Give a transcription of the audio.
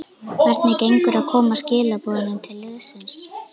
Hvernig gengur að koma skilaboðum til liðsins?